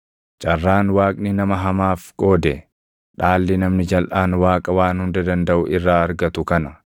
“Carraan Waaqni nama hamaaf qoode, dhaalli namni jalʼaan Waaqa Waan Hunda Dandaʼu irraa argatu kana: